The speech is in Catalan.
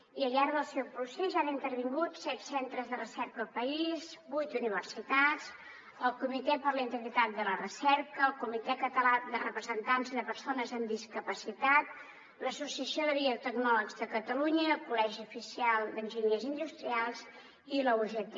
i al llarg del seu procés hi han intervingut set centres de recerca del país vuit universitats el comitè per a la integritat de la recerca el comitè català de representants de persones amb discapacitat l’associació de biotecnòlegs de catalunya i el col·legi oficial d’enginyers industrials i la ugt